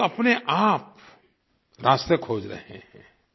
लोग अपनेआप रास्ते खोज रहे हैं